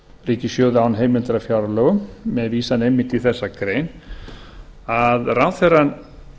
ríkissjóði án heimildar í fjárlögum með vísan einmitt í þessa grein að ráðherrann